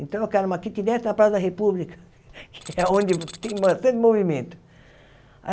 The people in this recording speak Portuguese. Então, eu quero uma quitinete na Praça da República, que é onde tem bastante movimento.